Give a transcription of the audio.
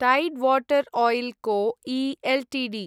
tied Water Oil Co I Ltd